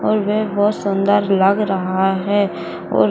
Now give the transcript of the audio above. और वे बहुत सुंदर लग रहा है और --